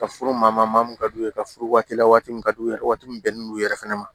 Ka furu ma maa mun ka d'u ye ka furu waati la waati min ka d'u ye waati min bɛnnen non u yɛrɛ fɛnɛ ma